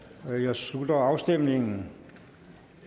slutter afstemningen